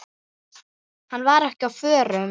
Hann var ekki á förum.